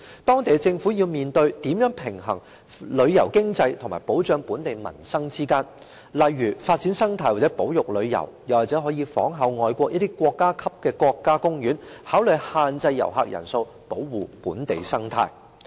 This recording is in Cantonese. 當地政府要面對如何平衡旅遊經濟和保障本地民生，例如發展生態或保育旅遊，又或仿效外國一些國家級的國家公園，考慮限制遊客人數，保護本地生態。